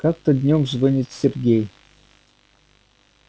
как-то днём звонит сергей